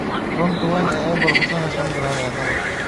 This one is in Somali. Xarunta weyn ee Apple, Cupertino: shan bilyan oo doolar.